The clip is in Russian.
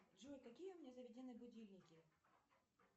джой какие у меня заведены будильники